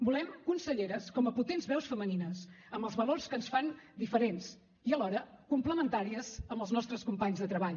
volem conselleres com a potents veus femenines amb els valors que ens fan diferents i alhora complementàries amb els nostres companys de treball